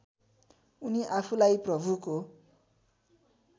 उनी आफूलाई प्रभुको